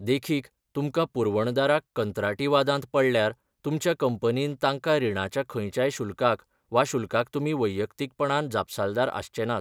देखीक, तुमकां पुरवणदाराक कंत्राटी वादांत पडल्यार, तुमच्या कंपनीन तांकां रिणाच्या खंयच्याय शुल्काक वा शुल्काक तुमी वैयक्तीकपणान जापसालदार आसचे नात.